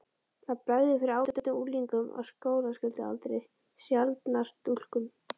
Það bregður fyrir ágætum unglingum á skólaskyldualdri, sjaldnar stúlkum.